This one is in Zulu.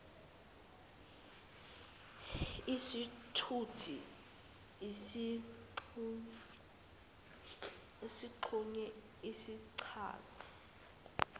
isithuthi esixhunyiwe sichaza